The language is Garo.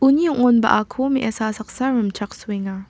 uni ong·onbaako me·asa saksa rimchaksoenga.